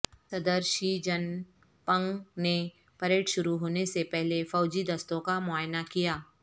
صدر Xi Jinping نے parade شروع ہونے سے پہلے فوجی دستوں کا معائنہ کیا